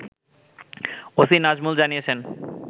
OC Nazmul জানিয়েছেন